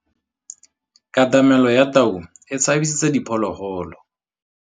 Katamêlô ya tau e tshabisitse diphôlôgôlô.